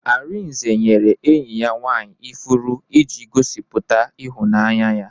Arinze nyere enyi ya nwaanyị ifuru iji gosiputa ịhụnanya ya.